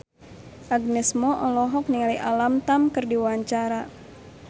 Agnes Mo olohok ningali Alam Tam keur diwawancara